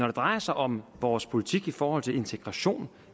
det drejer sig om vores politik i forhold til integration